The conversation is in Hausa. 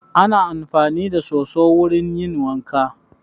Ana amfani da soso wurin yin wanka